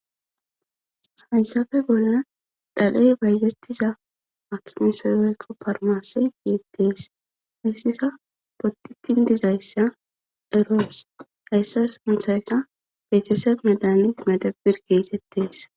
halsabe bolaa dhal7ey baygettiza akki misoloykko parmasey giittees hissika potitin dizayssa eroos gayssas muthayka betese medani madabir geetettees